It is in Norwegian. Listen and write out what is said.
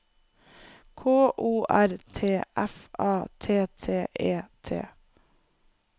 K O R T F A T T E T